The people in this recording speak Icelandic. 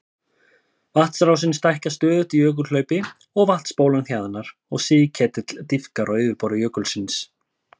Vatnsrásin stækkar stöðugt í jökulhlaupi og vatnsbólan hjaðnar og sigketill dýpkar á yfirborði jökulsins.